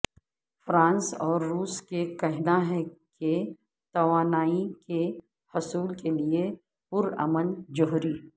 France اور روس کا کہنا ہے کہ توانائی کے حصول کے لیے پرامن جوہری